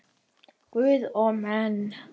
Guð og menn.